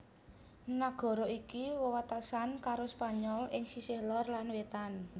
Nagara iki wewatesan karo Spanyol ing sisih lor lan wétan